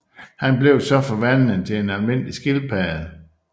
Han bliver så forvandlet til en almindelig skildpadde